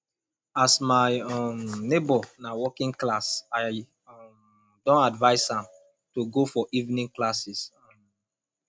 as my um nebor na working class i um don advice am to go for evening classes um